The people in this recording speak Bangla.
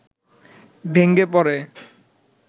ভেঙ্গে পড়ে